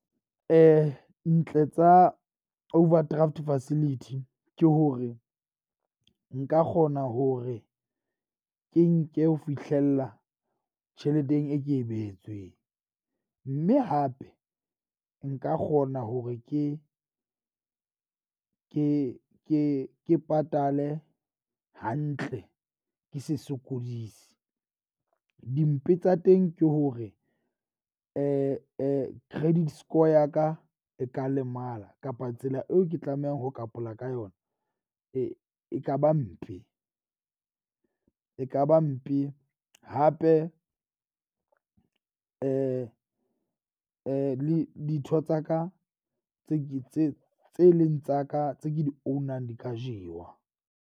Ntle tsa overdraft facility ke hore nka kgona hore ke nke ho fihlella tjheleteng e ke e behetsweng. Mme hape nka kgona hore ke ke ke ke patale hantle, ke se sokodise. Dimpe tsa teng, ke hore credit score ya ka e ka lemala kapa tsela eo ke tlamehang ho ka yona. E ekaba mpe ekaba mpe hape le ditho tsa ka tse tse tse tse eleng tsa ka tse ke di own-ang di ka jewa.